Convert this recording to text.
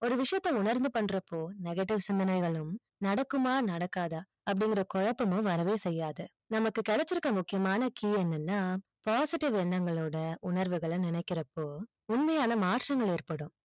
ஒரு விஷியத்தை உணந்து பண்றப்போ negative சிந்தனைகளும் நடக்குமா நடக்காத அப்டின்னு ஒரு குழப்பம் வரவும் செய்யாது நம்மக்கு கிடைச்சி இருக்க முக்கியமான key என்னனா positive எண்ணங்களோடு உணர்வுகள் நினைக்கறப்போ உண்மையான ஏற்படும்